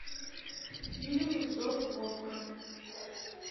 фильм зов волка